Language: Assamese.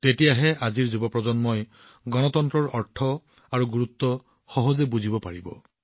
ইয়াৰ দ্বাৰা আজিৰ যুৱ প্ৰজন্মই গণতন্ত্ৰৰ অৰ্থ আৰু গুৰুত্ব সহজভাৱে বুজিব পাৰিব